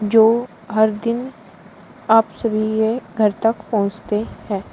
जो हर दिन आप सभी के घर तक पहोचते हैं।